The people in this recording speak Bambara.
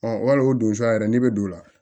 wal o don sa yɛrɛ n'i bɛ don o la